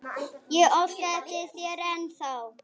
Ég óska eftir þér ennþá.